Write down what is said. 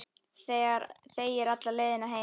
Þegir alla leiðina heim.